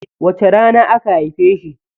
Wace rana aka haife shi?